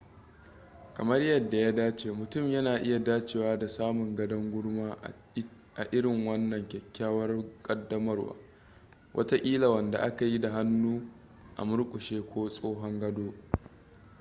kamar yadda ya dace mutum yana iya dacewa da samun gadon gurma a itin wanan kyakyawar kadamarwar watakila wanda aka yi da hannu a murkushe ko tsohon gado